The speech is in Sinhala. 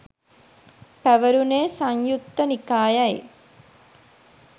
පැවැරුණේ සංයුත්ත නිකායයි